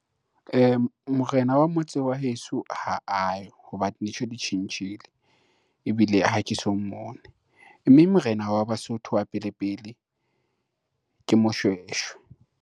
Morena wa motse wa heso ha ayo ho ba dintho ditjhentjhile, ebile ha ke so mmone mme morena wa Basotho wa pele pele ke Moshoeshoe.